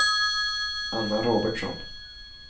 Anna Robertsson